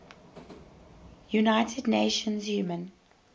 united nations human